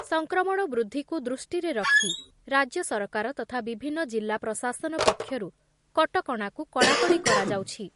ସଂକ୍ରମଣ ବୃଦ୍ଧିକୁ ଦୃଷ୍ଟିରେ ରଖି ରାଜ୍ୟ ସରକାର ତଥା ବିଭିନ୍ନ ଜିଲ୍ଲା ପ୍ରଶାସନ ପକ୍ଷରୁ କଟକଣାକୁ କଡ଼ାକଡ଼ି କରାଯାଉଛି ।